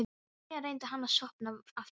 Síðan reyndi hann að sofna aftur.